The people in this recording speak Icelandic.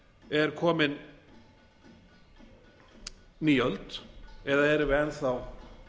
er komin ný öld eða erum við enn þá